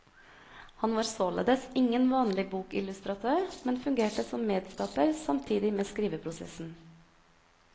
Han var således ingen vanlig bokillustratør, men fungerte som medskaper samtidig med skriveprosessen.